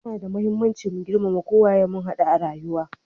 Ya na da muhimmanci mu girmama ko waye mun hadu a rayuwa.